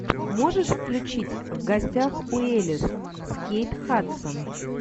можешь включить в гостях у элис с кейт хадсон